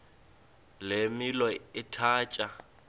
le milo ithatya